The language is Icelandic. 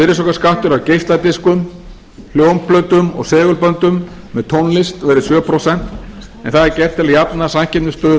virðisaukaskattur af geisladiskum hljómplötum og segulböndum með tónlist verði sjö prósent en það er gert til að jafna samkeppnisstöðu